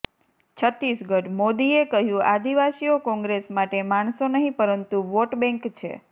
છત્તીસગઢઃ મોદીએ કહ્યું આદિવાસીઓ કોંગ્રેસ માટે માણસો નહીં પરંતુ વોટબેંક છે